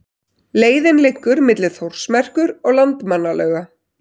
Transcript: Leiðin liggur milli Þórsmerkur og Landmannalauga.